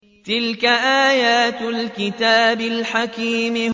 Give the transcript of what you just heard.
تِلْكَ آيَاتُ الْكِتَابِ الْحَكِيمِ